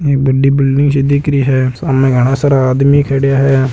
यहाँ बड़ी सी बिल्डिंग दिख रही हे सामने घाना सारा आदमी खड़े है।